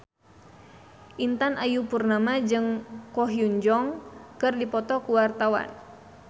Intan Ayu Purnama jeung Ko Hyun Jung keur dipoto ku wartawan